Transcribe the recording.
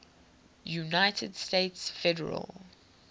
united states federal